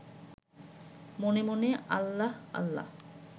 মনে মনে আল্লাহ আল্লাহ